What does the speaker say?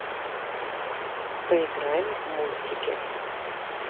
поиграем в мультики